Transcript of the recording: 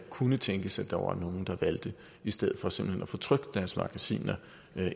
kunne tænkes at der var nogle der valgte i stedet for simpelt hen at få trykt deres magasiner